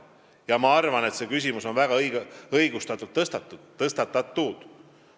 Ma arvan, et see küsimus on väga õigustatult tõstatatud.